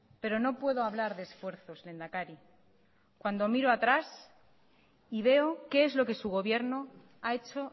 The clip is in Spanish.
pero no puedo hablar de esfuerzos lehendakari cuando miro atrás y veo qué es lo que su gobierno a hecho